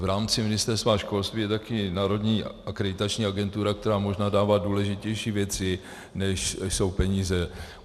V rámci Ministerstva školství je taky Národní akreditační agentura, která možná dává důležitější věci, než jsou peníze.